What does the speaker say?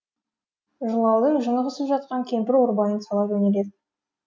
жылаудың жыны қысып жатқан кемпір ойбайын сала жөнеледі